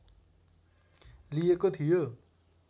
लिएको थियो